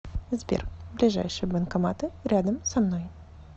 сбер ближайшие банкоматы рядом со мной